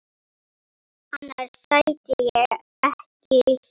Annars sæti ég ekki hér.